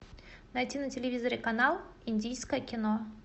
найти на телевизоре канал индийское кино